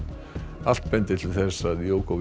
allt bendir til þess að